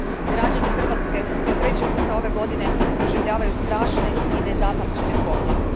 Građani Hrvatske po treći put ove godine proživljavaju strašne i nezapamćene poplave.